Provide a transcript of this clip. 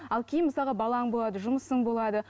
ал кейін мысалға балаң болады жұмысың болады